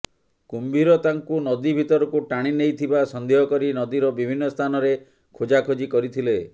କୁମ୍ଭୀର ତାଙ୍କୁ ନଦୀ ଭିତରକୁ ଟାଣି ନେଇଥିବା ସନ୍ଦେହ କରି ନଦୀର ବିଭିନ୍ନ ସ୍ଥାନରେ ଖୋଜାଖୋଜି କରିଥିଲେ